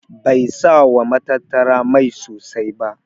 Bai sa wa matattara mai sosai ba.